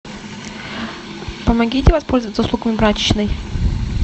помогите воспользоваться услугами прачечной